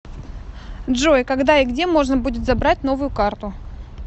джой когда и где можно будет забрать новую карту